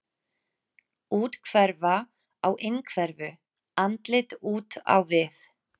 Úthverfa á innhverfu, andlit út á við.